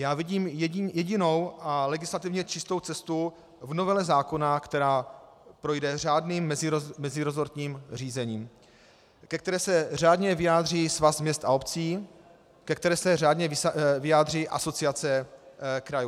Já vidím jedinou a legislativně čistou cestu v novele zákona, která projde řádným meziresortním řízením, ke které se řádně vyjádří Svaz měst a obcí, ke které se řádně vyjádří Asociace krajů.